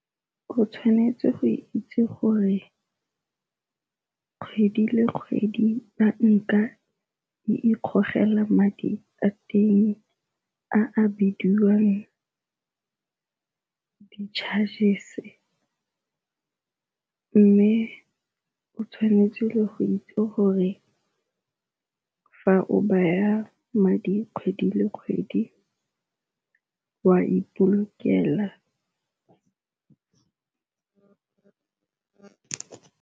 O tshwanetse go itse gore kgwedi le kgwedi banka e ikgogela madi a teng a bidiwang di-chargers-e, mme o tshwanetse go itse gore fa o baya madi kgwedi le kgwedi wa ipolokela.